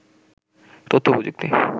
তথ্যপ্রযুক্তি